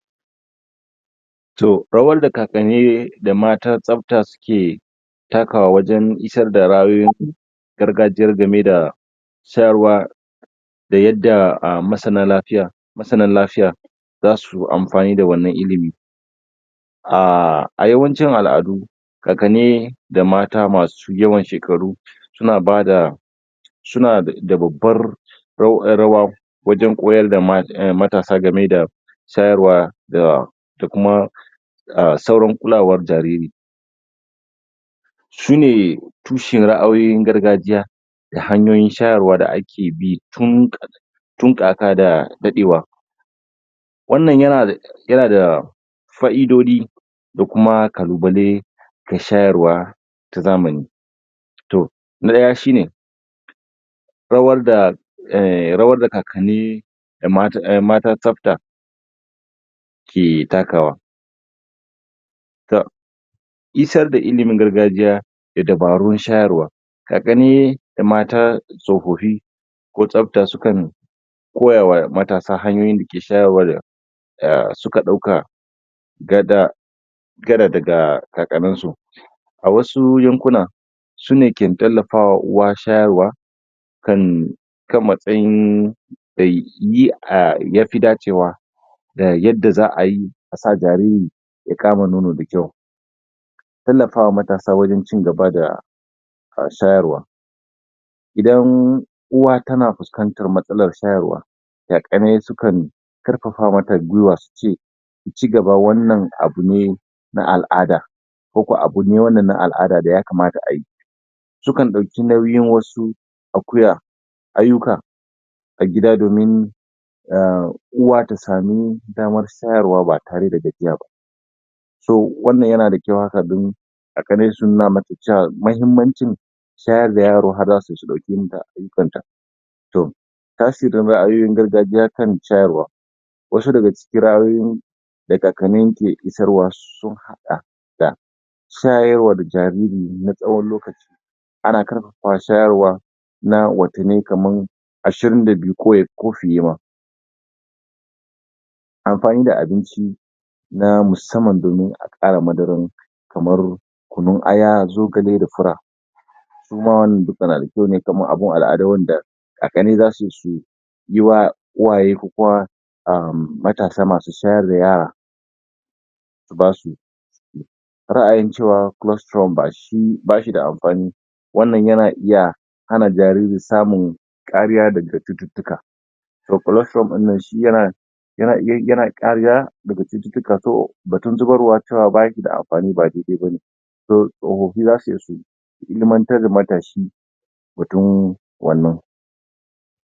Toh rawar da kakanni da matan tsafta suke takawa wajen isarda ra'ayoyin gargajiya game da shayarwa da yadda ah masana lafiya, masanan lafiya zasuyi amfani da wannan ilimi. Ahhh a yawancin al'adu kakanni da mata masu yawan shekaru suna bada, suna da babar rawa wajen koyarda matasa game da shayarwa da kuma ah sauran kulawar jariri. Sune tushen ra'ayoyin gargajiya da hanyoyin shayarwa da ake bi tun tun kaka da daɗewa. Wannan ya na dah ya na dah fa'idoji da kuma kalubalai ga shayarwa na zamani. Toh, daya shi ne rawar da ehh.-Rawar da kakanni da matan tsafta ke takawa; Toh isar da ilimin gargajiya da dabarun shayarwa, kakani da mata tsofafi ko tsafta sukan koyawa matasa hanyoyin dake shayarwa da suka dauka gada daga kakaninsu. A wasu yankunan, sune ke tallafawa uwa shayarwa kan matsayin da yi ah da yafi dacewa da yadda za'ayi asa jariri ya kama nono da kyau. Tallafawa wa matasa wajen cigaba da shayarwa. Idan umm Uwa tana fuskantar matsalan shayarwa kakanni sukan karfafa mata guiwa suce suce ta cigaba wannan abu ne na al'ada ko kuma abu ne na al'ada da ya kamata ayi. Sukan dauki nauyin wasu akuya ayyuka a gida domin emm Uwa ta samu daman shayarwa ba tare da gajiya ba. So wannan yana da kyau haka domin kakanni su nuna mata cewa mahimmanci shayar da yaro tunda har za su zo ɗauke ayyukanta. Toh tasirin ra'ayoyin gargajiya kan shayarwa. Wasu daga cikin ra'ayoyin da kakanni ke isarwa sun haɗa da shayarwa da jariri na tsawon lokaci. Ana karfafa shayarwa na watanni kamar, ashirin da biyu ko fiye ma. Amfani da abinci na musamman domin ƙara madaran kamar kunun aya, zogale da fura. Suma wannan duka na da kyau ne yana kama abun alado wanda a kani da su su uwa su fi kowa matasa su fi wurin masu shayarwa basu ra'ayin cewa colustrum bashi da amfani wannan yana iya hana jariri samun kariya daga cututtuka to colesturom dinnan shi yana bada kariya daga cututtuka, so batun zubarwa cewa bashi da amfani ba daidai bane, tsofaffin zasu iya su ilimantar da matashi akan wannan wannan